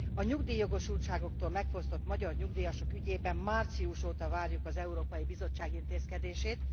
A nyugdíjjogosultságuktól megfosztott magyar nyugdíjasok ügyében március óta várjuk az Európai Bizottság intézkedését.